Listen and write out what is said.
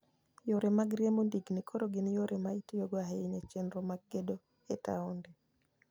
Yore mag riembo ndigni koro gin yore ma itiyogo ahinya e chenro mag gedo e taonde.